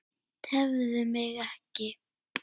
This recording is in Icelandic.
Tefðu mig ekki.